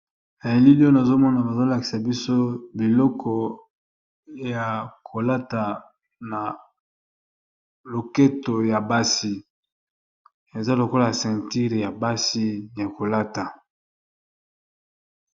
Elili oyo nazomona bazolakisa biso biloko ya kolata na loketo ya basi, eza lokola centire ya basi ya kolata.